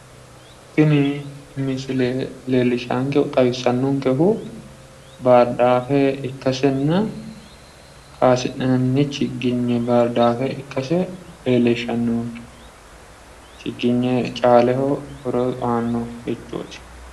Tini misile leellishankehu, xawisaankehu baardaafw ikkasenna kaasi'nanni chiginye baardaafe ikkase leellishanonke. Chiginye caaleho horo aannonkerichooti.